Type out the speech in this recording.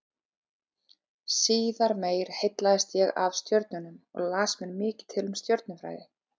Síðar meir heillaðist ég af stjörnunum og las mér mikið til um stjörnufræði.